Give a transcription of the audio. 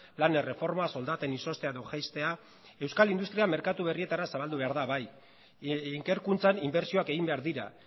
lan erreforma soldaten izoztea edo jaistea euskal industria merkatu berrietara zabaldu behar da bai ikerkuntzan inbertsioak egin behar dira